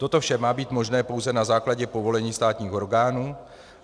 Toto vše má být možné pouze na základě povolení státních orgánů.